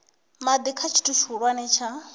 madi kha tshithu tshihulwane tsha